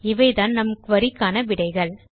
இவைதான் நம் குரி க்கான விடைகள்